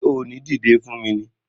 Ṣé o ò ní dìdé fún mi ni!